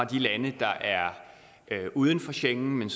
de lande der er uden for schengen men